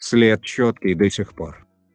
след чёткий до сих пор